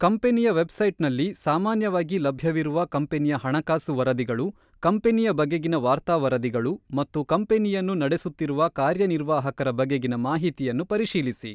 ಕಂಪನಿಯ ವೆಬ್ಸೈಟ್‌ನಲ್ಲಿ ಸಾಮಾನ್ಯವಾಗಿ ಲಭ್ಯವಿರುವ ಕಂಪನಿಯ ಹಣಕಾಸು ವರದಿಗಳು, ಕಂಪನಿಯ ಬಗೆಗಿನ ವಾರ್ತಾ ವರದಿಗಳು ಮತ್ತು ಕಂಪನಿಯನ್ನು ನಡೆಸುತ್ತಿರುವ ಕಾರ್ಯನಿರ್ವಾಹಕರ ಬಗೆಗಿನ ಮಾಹಿತಿಯನ್ನು ಪರಿಶೀಲಿಸಿ.